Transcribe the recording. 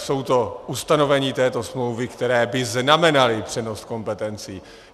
Jsou to ustanovení této smlouvy, která by znamenala přenos kompetencí.